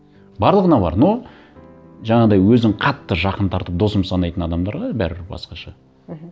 барлығына бар но жаңағыдай өзін қатты жақын тартып досым санайтын адамдарға бәрібір басқаша